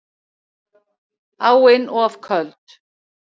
Áin of köld